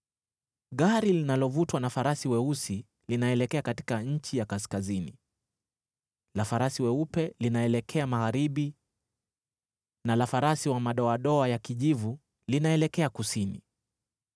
Gari linalovutwa na farasi weusi linaelekea katika nchi ya kaskazini, la farasi weupe linaelekea magharibi na la farasi wa madoadoa ya kijivu linaelekea kusini.”